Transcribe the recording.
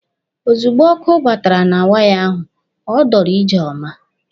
Ozugbo ọkụ batara na waya ahụ, ọ dọrọ Ijeọma.